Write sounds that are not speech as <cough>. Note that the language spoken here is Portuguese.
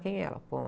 Quem é ela? <unintelligible>